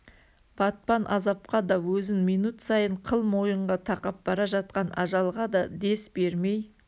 батпан азапқа да өзін минут сайын қыл мойынға тақап бара жатқан ажалға да дес бермей